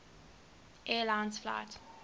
air lines flight